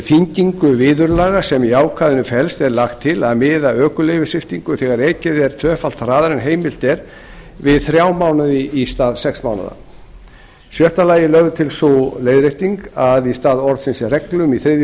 þyngingu viðurlaga sem í ákvæðinu felst er lagt til að miða ökuleyfissviptingu þegar ekið er tvöfalt hraðar en heimilt er við þrjá mánuði í stað sex mánaða sjöunda lögð er til sú leiðrétting að í stað orðsins reglum í þriðju